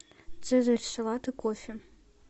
цезарь салат и кофе